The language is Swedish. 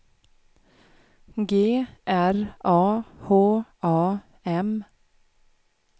G R A H A M